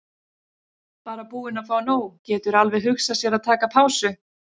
Bara búinn að fá nóg, getur alveg hugsað sér að taka pásu.